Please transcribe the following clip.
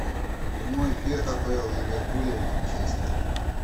прямой эфир апл ливерпуля и манчестера